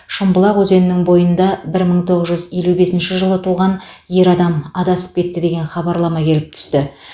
шымбұлақ өзенінің бойында бір мың тоғыз жүз елу бесінші жылы туған ер адам адасып кетті деген хабарлама келіп түсті